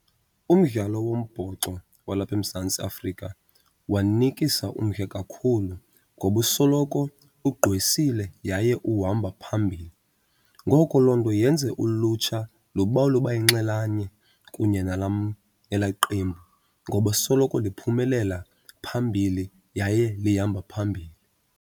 Umdlalo wombhoxo walapha eMzantsi Afrika wanikisa umdla kakhulu ngoba usoloko ugqwesile yaye uhamba phambili. Ngoko loo nto yenze ulutsha lubawele uba yinxalenye kunye nelaa qembu ngoba soloko liphumelela phambili yaye lihamba phambili.